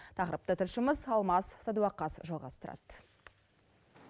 тақырыпты тілшіміз алмас садуақас жалғастырады